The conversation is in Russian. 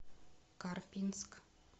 карпинск